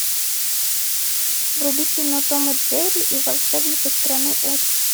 вруби кино том и джерри и волшебник из страны оз